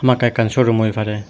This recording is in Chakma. hamakkai ekkan sowrum oi pare.